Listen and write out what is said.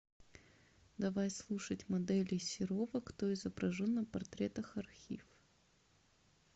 давай слушать моделей серова кто изображен на портретах архив